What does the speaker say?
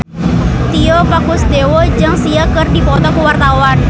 Tio Pakusadewo jeung Sia keur dipoto ku wartawan